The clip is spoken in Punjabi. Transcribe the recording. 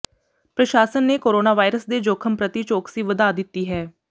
ਪ੍ਰਸ਼ਾਸਨ ਨੇ ਕੋਰੋਨਾ ਵਾਇਰਸ ਦੇ ਜੋਖਮ ਪ੍ਰਤੀ ਚੌਕਸੀ ਵਧਾ ਦਿੱਤੀ ਹੈ